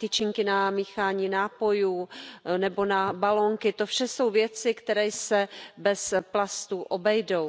tyčinky na míchání nápojů nebo na balónky to vše jsou věci, které se bez plastů obejdou.